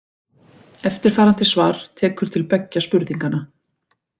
Eftirfarandi svar tekur til beggja spurninganna.